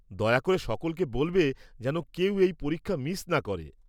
দয়া করে সকলকে বলবে যেন কেউ এই পরীক্ষা মিস না করে।